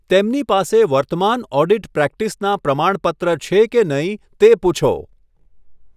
તેમની પાસે વર્તમાન ઓડિટ પ્રેક્ટિસનાં પ્રમાણપત્ર છે કે નહિ તે પૂછો.